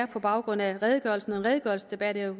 på baggrund af redegørelsen redegørelsesdebat er